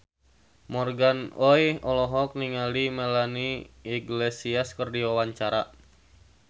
Morgan Oey olohok ningali Melanie Iglesias keur diwawancara